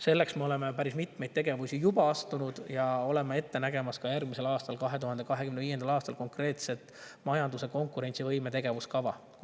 Selleks me oleme päris mitmeid tegevusi juba teinud ja näeme järgmiseks, 2025. aastaks ette konkreetselt majanduse konkurentsivõime tegevuskava.